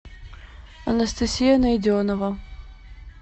анастасия найденова